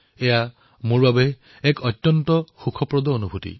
এয়া মোৰ বাবে এক সুখদ অনুভূতি